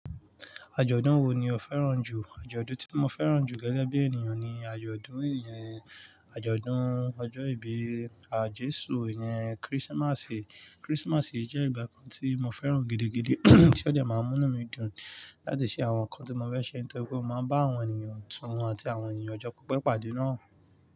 Àjọ̀dún wo ni o fẹ́ràn jù? Àjọ̀dún tí mo fẹ́ràn jù gẹ́gẹ́ bí ènìyàn ni àjọ̀dún àjọ̀dún ọjọ́ ìbí àjésù, ìyẹn Christmas. Christmas jẹ́ ìgbà kan tí mo fẹ́ràn gidi gidi tí ó dẹ́ máa ń mú inú mi dùn láti ṣe àwọn nǹkan tí mo fẹ́ ṣe, nítorípe mo máa ń bá àwọn ènìyàn tún àti àwọn ènìyàn ọjọ́ pipe pàdé náà.